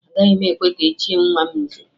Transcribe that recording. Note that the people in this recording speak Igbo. Agaghị m ekwe ka e chie nwa m nze